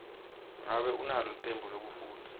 ngabe unalo licembu lekufundza